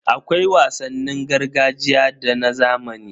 Akwai wasannin gargajiya da na zamani.